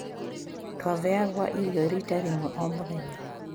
"Twabeagwa irio rita rĩmwe omũthenya.